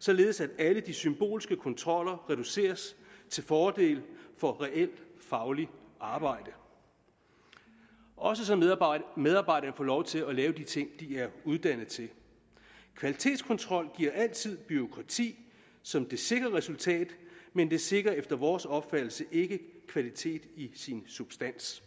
således at alle de symbolske kontroller reduceres til fordel for reelt fagligt arbejde også så medarbejderne får lov til at lave de ting de er uddannet til kvalitetskontrol giver altid bureaukrati som det sikre resultat men det sikrer efter vores opfattelse ikke kvalitet i sin substans